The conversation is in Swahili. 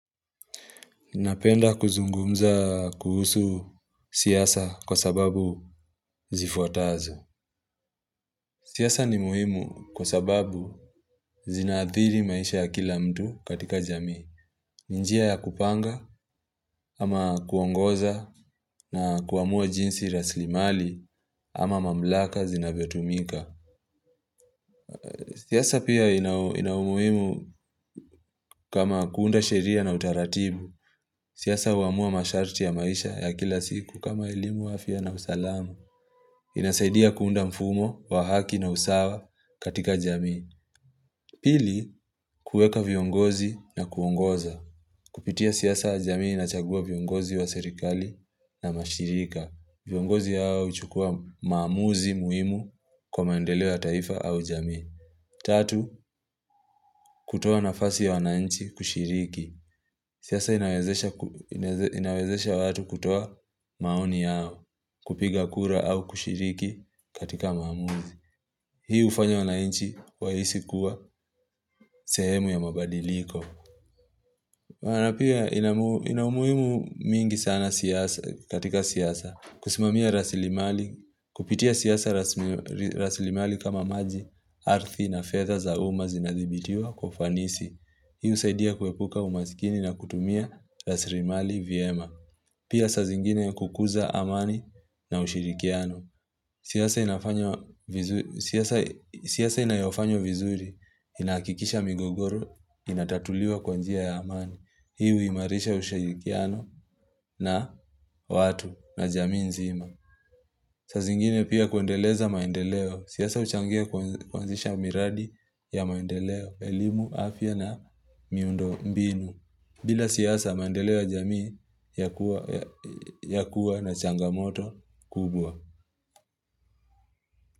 Napenda kuzungumza kuhusu siasa kwa sababu zifuatazo. Siasa ni muhimu kwa sababu zinaathiri maisha ya kila mtu katika jamii. Njia ya kupanga ama kuongoza na kuamua jinsi rasilimali ama mamlaka zinavyotumika. Siasa pia ina umuhimu kama kuunda sheria na utaratibu. Siasa huamua masharti ya maisha ya kila siku kama elimu afya na usalama. Inasaidia kuunda mfumo wa haki na usawa katika jamii Pili, kueka viongozi na kuongoza Kupitia siasa, jamii inachagua viongozi wa serikali na mashirika. Viongozi hao huchukua maamuzi muhimu kwa maendeleo ya taifa au jamii Tatu, kutoa nafasi ya wananchi kushiriki. Siasa inawezesha watu kutoa maoni yao kupiga kura au kushiriki katika maamuzi Hii hufanya wananchi wahisi kuwa sehemu ya mabadiliko Maana pia ina umuhimu mingi sana katika siasa kusimamia rasilimali, kupitia siasa rasilimali kama maji, ardhi na fedha za umma zinadhibitiwa kwa ufanis. Hii husaidia kuepuka umasikini na kutumia rasilimali vyema Pia saa zingine kukuza amani na ushirikiano. Siasa inafanya siasa inayofanywa vizuri, inahakikisha migogoro, inatatuliwa kwa njia ya amani. Hii huimarisha ushirikiano na watu na jamii nzima. Saa zingine pia kuendeleza maendeleo. Siasa huchangia kuanzisha miradi ya maendeleo, elimu, afya na miundo mbinu. Bila siasa maendeleo ya jamii ya kuwa na changamoto kubwa.